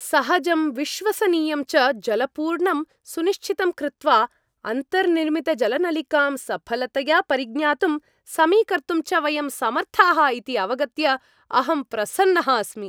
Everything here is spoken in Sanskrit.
सहजं, विश्वसनीयं च जलपूरणं सुनिश्चितं कृत्वा, अन्तर्निर्मितजलनलिकां सफलतया परिज्ञातुं, समीकर्तुं च वयं समर्थाः इति अवगत्य अहं प्रसन्नः अस्मि।